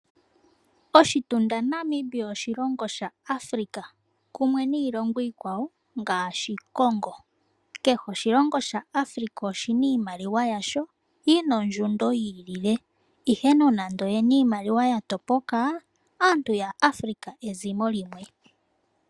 Oshitunda Namibia oshilongo shaAfrika kumwe niilongo iikwawo ngaashi Congo. Kehe oshilongo shaAfrika oshina iimaliwa yasho yina ondjundo yi ilile, ihe nonando oyena iimaliwa ya topoka, aantu ya Afrika ezimo limwe.